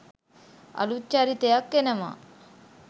අලුත් චරිතයක් එනවා.